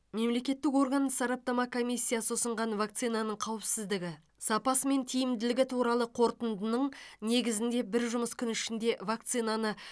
мемлекеттік орган сараптама комиссиясы ұсынған вакцинаның қауіпсіздігі сапасы мен тиімділігі туралы қорытындының негізінде бір жұмыс күні ішінде вакцинаны